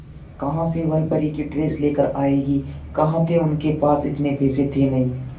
कहां से वह परी की ड्रेस लेकर आएगी कहां थे उनके पास इतने पैसे थे नही